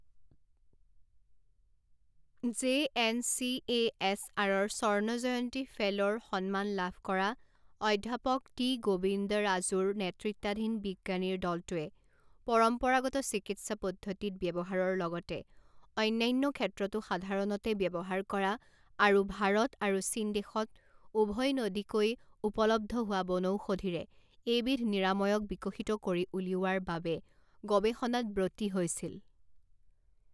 J N C A S আৰৰ স্বৰ্ণজয়ন্তী ফেল ৰ সন্মান লাভ কৰা অধ্যাপক টি গোবিন্দৰাজুৰ নেতৃত্বাধীন বিজ্ঞানীৰ দলটোৱে পৰম্পৰাগত চিকিত্সা পদ্ধতিত ব্যৱহাৰৰ লগতে অন্যান্য ক্ষেত্ৰতো সাধাৰণতে ব্যৱহাৰ কৰা আৰু ভাৰত আৰু চীন দেশত উভৈনদীকৈ উপলব্ধ হোৱা বনৌষধীৰে এইবিধ নিৰাময়ক বিকশিত কৰি উলিওৱাৰ বাবে গৱেষণাত ব্ৰতী হৈছিল।